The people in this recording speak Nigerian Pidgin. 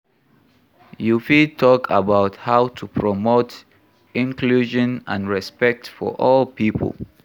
You fit talk about how to promote inclusion and respect for all people.